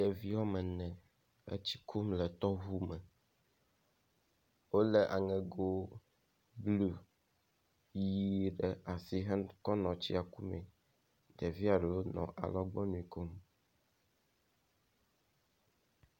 ɖevi wɔmene e tsi kum le tɔʋu me wóle aŋego blu yi ɖe asi kɔ nɔ tsia kumɛ ɖevia ɖewo nɔ alɔgbɔnui kom